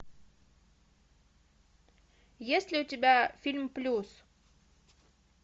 есть ли у тебя фильм плюс